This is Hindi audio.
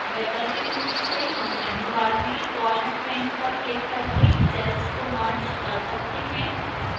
वैकल्पिक रूप से हम menu bar में format menu पर क्लिक करके cells को merge कर सकते हैं